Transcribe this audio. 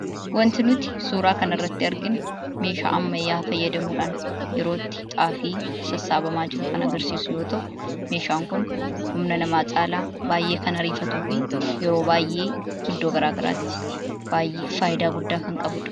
Suuraa kanaa gadii irratti kan argamu kun meeshaa ammayyaa fayyadamuudhaan yeroo itti Xaafiin sassabamuu dha. Meeshaan Kunis humna namaa caalaa baayyee kan ariifatuu dha.